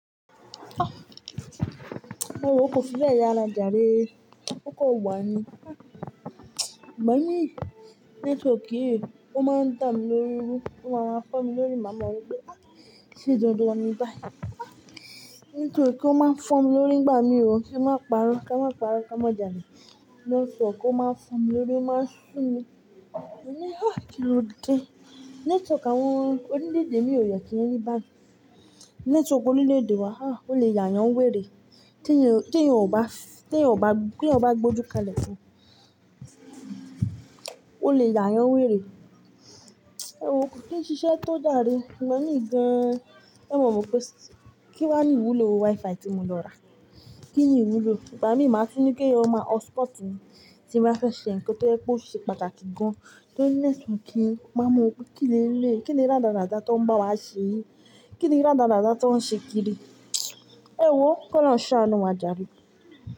Ewo ko fi be yara jare. O kan wa ní. Ìgbà mi network yìí ó máa ń da mi lórí irú, ó ma máa ń fọ mi lórí máa ma wo pé ṣe dandan ni bayi. Network ó máa ń fọ mi lórí ìgbà mi ò, kí má pàárọ̀, ká má pàárọ̀, kí a má jàle network ó máa ń fọ mi lórí ó máa ń sun mi. Mo ni ah kí ló dé. Network àwọn orilédè mi ò yẹ kí n rí bayi. Network ó máa ń fọ mi lórí ó máa ń sun mi. Te yan o bá, te yan bá, te yan bá gbé ojú kalẹ̀ fún o lè ya yan wèrè ewo ko kin ṣiṣẹ́ tó jare, i gba míì gan e mo wo pé kin wà ní ìwúlò WiFi tí mo lọ ra kíni ìwúlò, ìgbà mi ma tún ní èyàn maa hot-spot mi tí n bá fẹ́ ṣe ǹkan tó ọ̀sẹ̀ pàtàkì gan ma máa wo pé kí leleyii kini radarada tí wọ́n bá was se yi kini rada rada tin wọ́n se kiri ewo ko lọ́run ṣanu wà jaré.